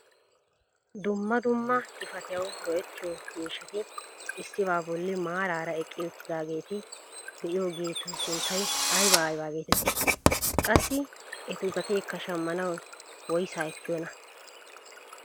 Dumma dumma xifatiyawu go"ettiyoo miishshati issibaa bolli maarara eqqi uttidageeta be'iyoogetu sunttay aybaa aybaa getettii? Qassi etu gateekka shammanwu woysaa ekkiyoonaa?